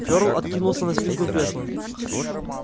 фёрл откинулся на спинку кресла